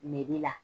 la